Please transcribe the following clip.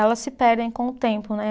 Elas se perdem com o tempo, né?